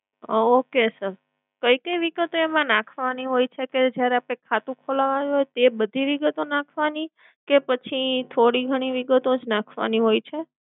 okay sir કઈ કઈ વિગતે એમાં નાખવાની હોય છે કે જ્યારે આપણે ખાતું ખોલાવવા આવીયે તે બધી વિગતો નાખવાની કે પછી થોડી ઘણી વિગતો જ નાખવાની હોય છે?